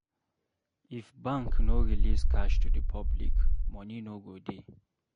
If bank no release cash to the public, money no go dey